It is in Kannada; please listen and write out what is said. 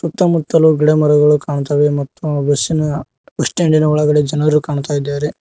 ಸುತ್ತಮುತ್ತಲು ಗಿಡಮರಗಳು ಕಾಣ್ತವೆ ಮತ್ತು ಆ ಬಸ್ಸಿನ ಬಸ್ ಸ್ಟ್ಯಾಂಡಿನ ಒಳಗಡೆ ಜನರು ಕಾಣ್ತಾ ಇದ್ದಾರೆ.